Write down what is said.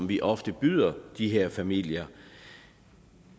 vi ofte byder de her familier